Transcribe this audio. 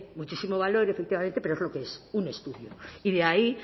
muchísimo valor efectivamente pero es lo que es un estudio y de ahí